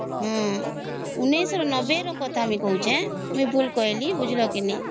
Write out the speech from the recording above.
ଊଂନେସ ନବେ ର କଥା ଆମେ କହୁଛି ମୁ ଭୁଲ କହିଲି ବୁଝିଲା କି ନାଇଁ